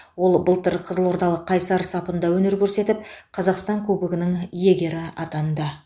ол былтыр қызылордалық қайсар сапында өнер көрсетіп қазақстан кубогының иегері атанды